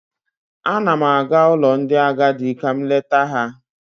Ana m aga ụlọ ndị agadị ka m leta ha.